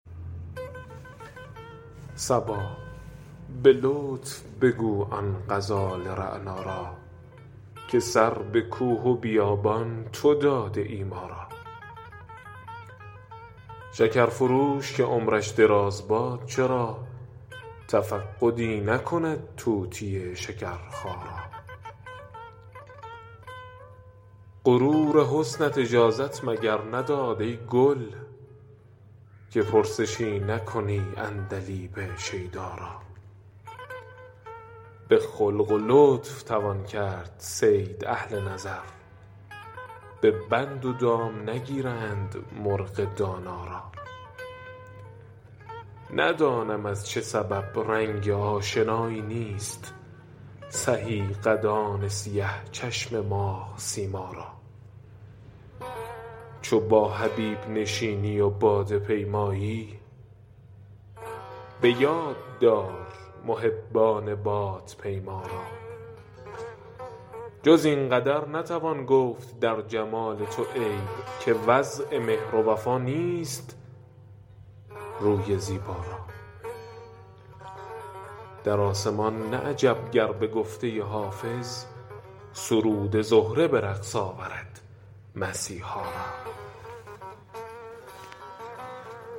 صبا به لطف بگو آن غزال رعنا را که سر به کوه و بیابان تو داده ای ما را شکر فروش که عمرش دراز باد چرا تفقدی نکند طوطی شکرخا را غرور حسنت اجازت مگر نداد ای گل که پرسشی نکنی عندلیب شیدا را به خلق و لطف توان کرد صید اهل نظر به بند و دام نگیرند مرغ دانا را ندانم از چه سبب رنگ آشنایی نیست سهی قدان سیه چشم ماه سیما را چو با حبیب نشینی و باده پیمایی به یاد دار محبان بادپیما را جز این قدر نتوان گفت در جمال تو عیب که وضع مهر و وفا نیست روی زیبا را در آسمان نه عجب گر به گفته حافظ سرود زهره به رقص آورد مسیحا را